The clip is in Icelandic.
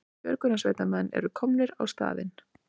Björgunarsveitarmenn eru komnir á staðinn